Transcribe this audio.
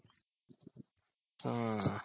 ಹಾ